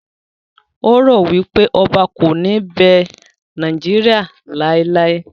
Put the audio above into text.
O ro wipe Oba ko ni be Nigeria laelae